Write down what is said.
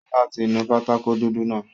Ṣọlá ti nu pátákó dúdú náà